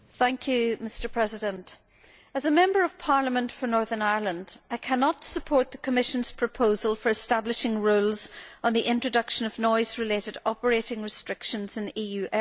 Mr President, as a Member of Parliament for Northern Ireland, I cannot support the Commission's proposal for establishing rules on the introduction of noise related operating restrictions in EU airports.